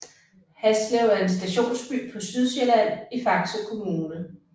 Haslev er en stationsby på Sydsjælland i Faxe Kommune